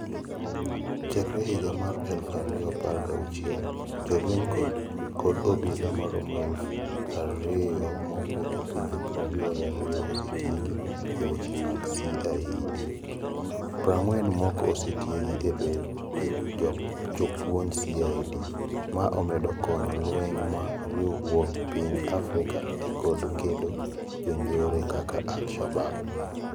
Chakre higa mar eluf ario apar gauchiel, jolweny kod obila maromo eluf ario mawuok e pinje prario gario osetiegi e weche mag CIED. Prangwen moko osetiegi e bedo jopuonj CIED. Ma omedo konyo jolweny ma riwruog pinje Afrika e kedo kod jonjore kaka Al Shabaab.